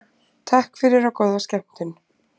Takk fyrir og góða skemmtun.